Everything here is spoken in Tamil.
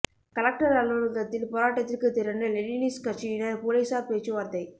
கலெக்டர் அலுவலகத்தில் போராட்டத்திற்கு திரண்ட லெனினிஸ்ட் கட்சியினர் போலீசார் பேச்சுவார்த்தை